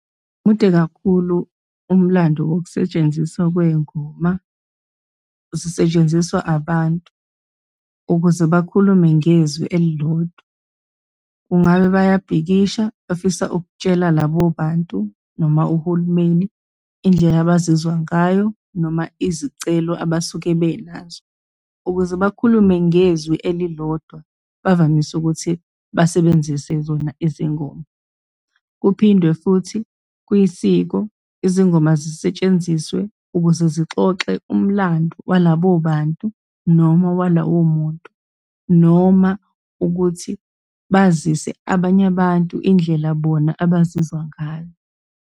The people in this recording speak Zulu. Mude kakhulu umlando wokusetshenziswa kwey'ngoma, zisetshenziswa abantu ukuze bakhulume ngezwi elilodwa. Kungabe bayabhikisha, bafisa ukutshela labo bantu, noma uhulumeni indlela abazizwa ngayo, noma izicelo abasuke benazo. Ukuze bakhulume ngezwi elilodwa, bavamise ukuthi basebenzise zona izingoma. Kuphindwe futhi kwisiko, izingoma zisetshenziswe ukuze zixoxe umlandu walabo bantu, noma walowo muntu, noma ukuthi bazise abanye abantu indlela bona abazizwa ngayo.